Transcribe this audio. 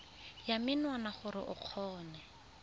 ya menwana gore o kgone